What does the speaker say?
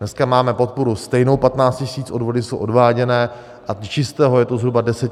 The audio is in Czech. Dneska máme podporu stejnou, 15 000, odvody jsou odváděny a čistého je to zhruba 10 000 korun.